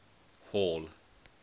hall